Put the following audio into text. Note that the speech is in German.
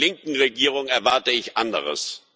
Von einer linken Regierung erwarte ich anderes.